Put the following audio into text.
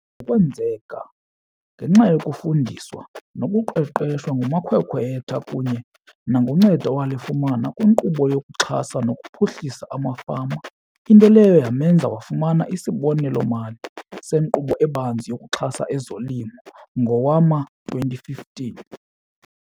Kwenzeka ngenxa yokufundiswa nokuqeqeshwa ngumakhwekhwetha kunye nangoncedo awalifumana kwiNkqubo yokuXhasa nokuPhuhlisa amaFama, into leyo yamenza wafumana isibonelelo-mali seNkqubo eBanzi yokuXhasa ezoLimo ngowama-2015.